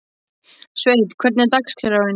Sveinn, hvernig er dagskráin?